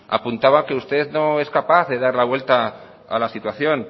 apuntaba que usted no es capaz de dar la vuelta a la situación